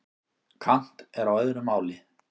Kant er á öðru máli.